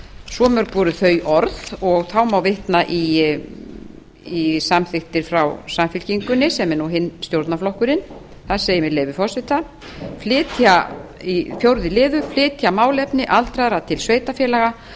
svo mörg voru þau orð þá má vitna í samþykktir frá samfylkingunni sem er hinn stjórnarflokkurinn þar segir með leyfi forseta fjórða flytja málefni aldraðra til sveitarfélaga